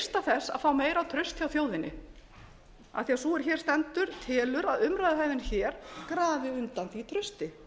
freista þess að fá meira traust hjá þjóðinni af því að sú er hér stendur telur að umræðuhefðin hér grafi undan því trausti